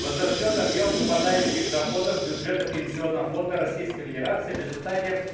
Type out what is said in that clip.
возрастёт объем выпадающих доходов бюджета пенсионного фонда российской федерации в результате